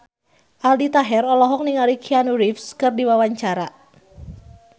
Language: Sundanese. Aldi Taher olohok ningali Keanu Reeves keur diwawancara